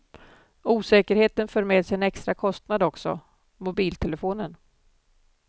Osäkerheten för med sig en extra kostnad också, mobiltelefonen.